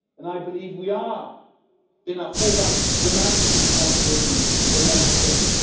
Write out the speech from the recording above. I believe we are in our full right to demand this responsibility in Member States.